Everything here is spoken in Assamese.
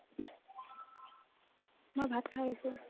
মই ভাত খাই আহিছো ।